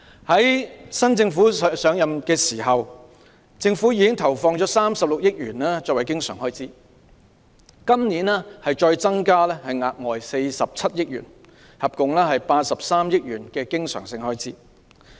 在現屆政府上任時，政府已投放36億元作為教育的經常開支，今年再額外增加47億元，合共83億元的經常性開支。